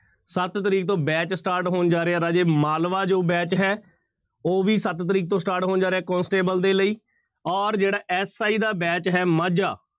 ਸੱਤ ਤਰੀਕ ਤੋਂ batch start ਹੋਣ ਜਾ ਰਿਹਾ ਰਾਜੇ ਮਾਲਵਾ ਜੋ batch ਹੈ ਉਹ ਵੀ ਸੱਤ ਤਰੀਕ ਤੋਂ start ਹੋਣ ਜਾ ਰਿਹਾ ਕੋਂਸਟੇਬਲ ਦੇ ਲਈ ਔਰ ਜਿਹੜਾ SI ਦਾ batch ਹੈ ਮਾਝਾ